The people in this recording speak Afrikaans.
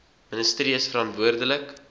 ministerie is verantwoordelik